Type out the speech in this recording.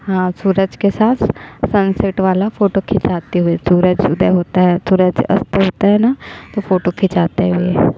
ह सूरज के साथ सनसेट वाला फोटो खिचाते हुए सूरज उदय होते हुए सूरज अस्त होता है न तो फोटो खींचते हुए--